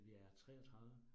Vi er 33